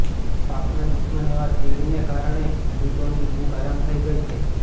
પાકના દુશ્મન એવા તીડને કારણે ખેડૂતોની ઉંઘ હરામ થઈ ગઈ છે